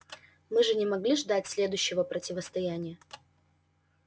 мы же не могли ждать следующего противостояния